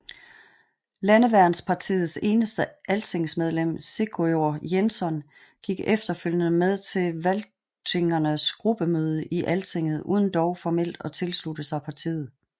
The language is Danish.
Landeværnspartiets eneste altingsmedlem Sigurður Jensson gik efterfølgende med til Valtýingarnes gruppemøder i Altinget uden dog formelt at tilslutte sig partiet